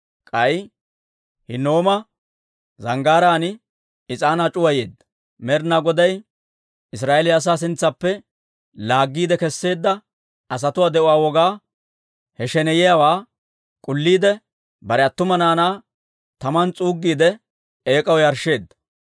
K'ay Hinnooma Zanggaaraan is'aanaa c'uwayeedda; Med'inaa Goday Israa'eeliyaa asaa sintsaappe laaggiide kesseedda asatuwaa de'uwaa wogaa, he sheneyiyaawaa k'ulliide, bare attuma naanaa taman s'uuggiide, eek'aw yarshsheedda.